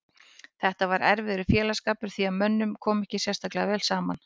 Þetta var erfiður félagsskapur því að mönnum kom ekki sérstaklega vel saman.